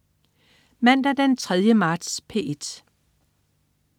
Mandag den 3. marts - P1: